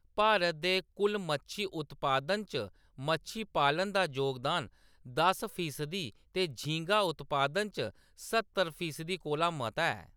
भारत दे कुल मच्छी उत्पादन च मच्छी पालन दा जोगदान दस फीसदी ते झींगा उत्पादन च स्हत्तर फीसदी कोला मता ऐ।